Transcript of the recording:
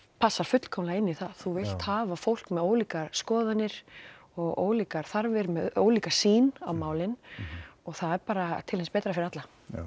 passar fullkomnlega inn í það þú vilt hafa fólk með ólíkar skoðanir og ólíkar þarfir með ólíka sýn á málin og það er bara til hins betra fyrir alla